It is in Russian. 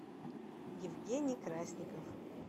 евгений красников